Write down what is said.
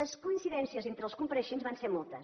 les coincidències entre els compareixents van ser moltes